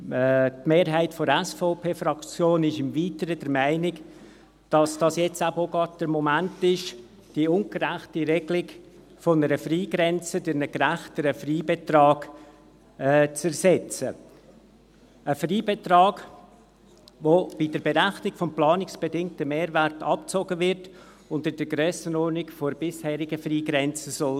Die Mehrheit der SVP-Fraktion ist im Weiteren der Meinung, dass dies auch gerade der Moment ist, die ungerechte Regelung einer Frei grenze durch einen gerechteren Freibetrag zu ersetzen – ein Freibetrag, welcher bei der Berechnung vom planungsbedingten Mehrwert abgezogen wird und in der Grössenordnung der bisherigen Freigrenze sein soll.